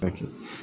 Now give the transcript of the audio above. A kɛ